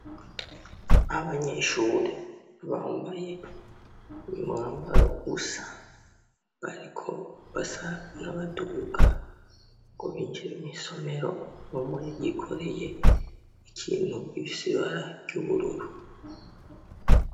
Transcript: Abanyeshure bambaye umwambaro usa , bariko basa n'abaduga ngo binjire mw'isomero , umwe yikoreye ikintu gifis'ibara ry'ubururu